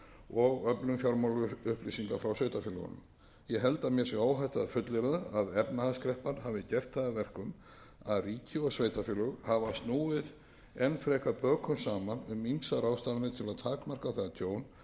og öflun fjármálaupplýsinga frá sveitarfélögunum ég held að mér sé óhætt að fullyrða að efnahagskreppan hafi gert það að verkum að ríki og sveitarfélög hafi snúið enn frekar bökum saman um ýmsar ráðstafanir til að takmarka það tjón